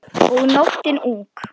Og nóttin ung.